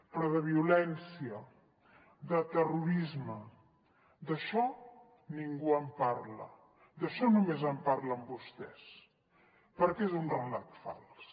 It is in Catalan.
però de violència de terrorisme d’això ningú en parla d’això només en parlen vostès perquè és un relat fals